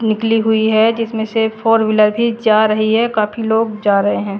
निकली हुई है जिस में से फोर मिला के चार है ये काफी लोग जा रहे है।